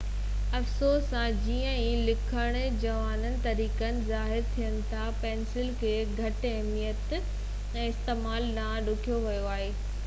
افسوس سان جيئن ئي لکڻ جا نوان طريقا ظاهر ٿين ٿا پينسل کي گهٽ اهميت ۽ استعمال ڏانهن ڌڪيو ويو آهي